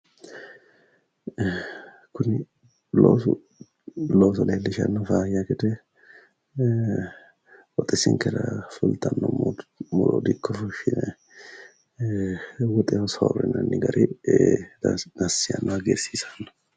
Kuni loosoho looso leellishshanno faayya gede ee qooxeessinkera fultanno muro dikko fushshine ee woxeho soorrinanni gari dassi yaanno hagiirsiisanno.